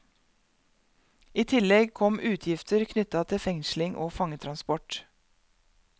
I tillegg kom utgifter knytta til fengsling og fangetransport.